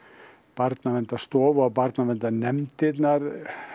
Barnaverndarstofa og barnaverndarnefndirnar